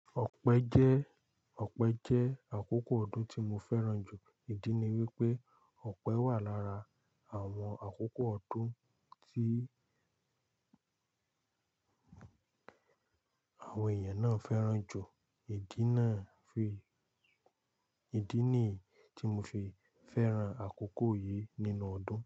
Ọ̀pẹ jẹ́, ọ̀pẹ jẹ́ àkókò ọdún tí mo fẹ́ràn jù. Ìdí ni wípé ọ̀pẹ wà lára àwọn àkókò ọdún tí àwọn èèyàn náà fẹ́ràn jù. Ìdí náà fi, ìdí ni tí mo fi fẹ́ràn àkókò yìí nínú ọdún.